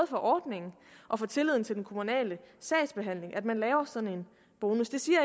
for ordningen og for tilliden til den kommunale sagsbehandling at man laver sådan en bonus det siger